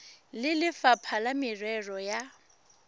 le lefapha la merero ya